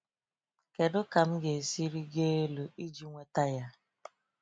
Kedu ka m ga-esi rịgo elu iji nweta ya?